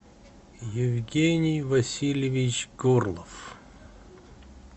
евгений васильевич горлов